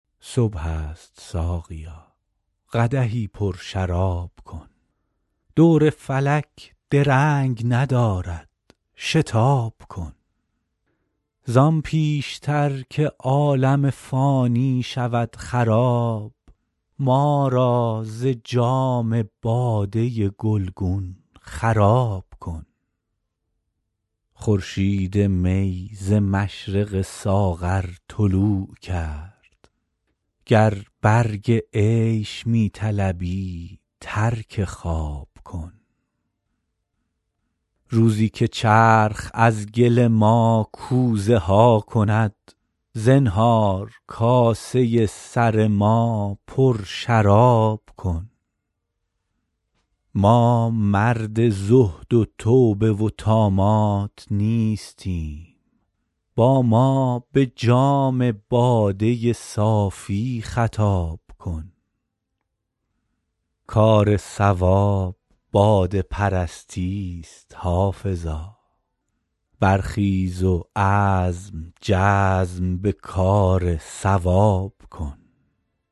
صبح است ساقیا قدحی پرشراب کن دور فلک درنگ ندارد شتاب کن زان پیش تر که عالم فانی شود خراب ما را ز جام باده گلگون خراب کن خورشید می ز مشرق ساغر طلوع کرد گر برگ عیش می طلبی ترک خواب کن روزی که چرخ از گل ما کوزه ها کند زنهار کاسه سر ما پرشراب کن ما مرد زهد و توبه و طامات نیستیم با ما به جام باده صافی خطاب کن کار صواب باده پرستی ست حافظا برخیز و عزم جزم به کار صواب کن